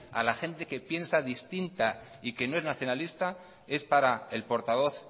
a la gente que piensa distinta y que no es nacionalista es para el portavoz